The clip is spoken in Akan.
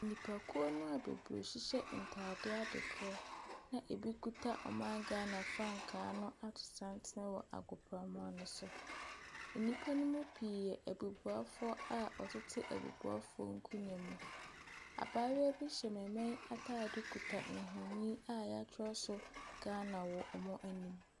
Nnipakuo no a bebree hyehyɛ ntaadeɛ ade korɔ na ebi kita ɔman Ghana frankaa ato santen wɔ agoprama no so. Nnipa no mu pii, abubufuafoɔ a wɔtete abubuafoɔ nkonnwa mu. Abaayewa bi hyɛ maame ataade kuta nfoni a yɛatwerɛ so Ghana wɔ wɔn anim.